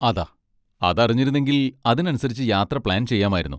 അതാ, അതറിഞ്ഞിരുന്നെങ്കിൽ അതിനനുസരിച്ച് യാത്ര പ്ലാൻ ചെയ്യാമായിരുന്നു.